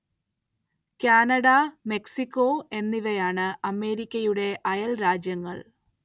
Canada Mexico എന്നിവയാണ്‌ അമേരിക്കയുടെ അയല്‍ രാജ്യങ്ങള്‍